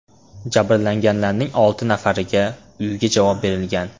Jabrlanganlarning olti nafariga uyga javob berilgan.